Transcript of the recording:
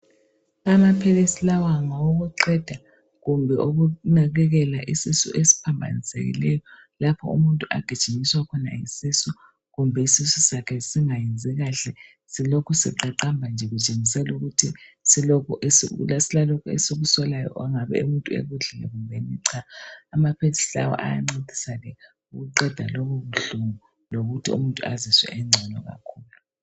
Amaphilisi lawa ngawokuqeda, kumbe ukunakekela isisu esiphambanisekileyo, lapho umuntu agijinyiswa khona yisisu. Kumbe isisu sakhe singayenzi kahle, Silokhu siqaqamba nje, Kutshengisela ukuthi silalokhu esikusolayo, okungabe umuntu ekudlile kumbeni cha. Amaphilisi lawa ayanceda ukuqeda lobobuhlungu, lokuthii umuntu azizwe engcono kakhulu.